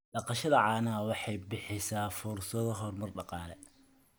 Dhaqashada caanaha waxay bixisaa fursado horumar dhaqaale.